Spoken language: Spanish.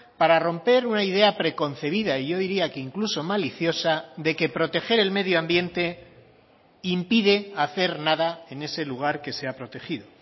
para romper una idea preconcebida y yo diría que incluso maliciosa de que proteger el medio ambiente impide hacer nada en ese lugar que se ha protegido